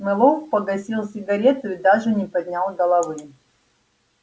мэллоу погасил сигарету и даже не поднял головы